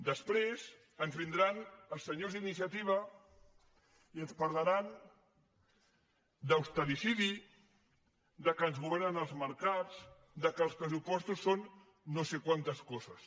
després ens vindran els senyors d’iniciativa i ens parlaran d’ austericidi que ens governen els mercats que els pressupostos són no sé quantes coses